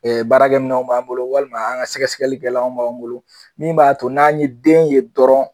Ee baarakɛ minɛnw b'an bolo walima an ka sɛgɛsɛgɛlikɛlanw b'an bolo min b'a to n'an ye den ye dɔrɔn